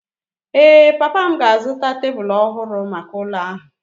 Ee, papa m ga-azụta tebụlų ọhụrụ maka ụlọ ahụ.